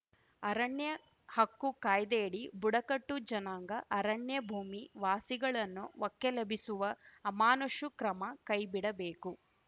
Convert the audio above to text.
ಅರಣ್ಯ ಹಕ್ಕು ಕಾಯ್ದೆಯಡಿ ಬುಡಕಟ್ಟು ಜನಾಂಗ ಅರಣ್ಯ ಭೂಮಿ ವಾಸಿಗಳನ್ನು ಒಕ್ಕಲೆಬ್ಬಿಸುವ ಅಮಾನುಷು ಕ್ರಮ ಕೈಬಿಡಬೇಕು